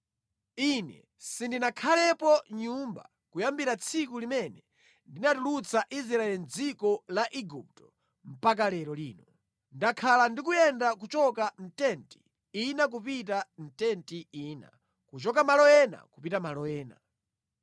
Ine sindinakhalepo mʼnyumba kuyambira tsiku limene ndinatulutsa Israeli mʼdziko la Igupto mpaka lero lino. Ndakhala ndikuyenda kuchoka mʼtenti ina kupita mʼtenti ina, kuchoka malo ena kupita malo ena.